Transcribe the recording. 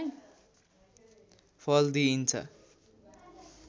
फल दिइन्छ